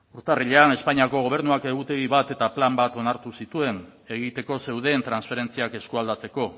urtarrilean espainiako gobernuak egutegi eta plan bat onartu zituen egiteko zeuden transferentziak eskualdatzeko